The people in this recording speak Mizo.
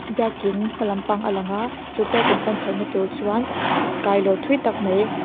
biakin hma lampang a lang a chu biakin chhoh na tur chuan ssst kailawn thui tak mai.